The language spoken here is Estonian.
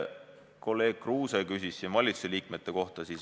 Kolleeg Kruuse küsis ennist valitsuse liikmete kohta.